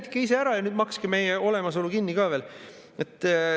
Täitke ise ära ja makske meie olemasolu kinni ka veel.